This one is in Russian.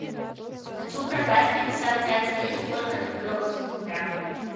хочу продать пятьдесят пять лир сколько это в белорусских рублях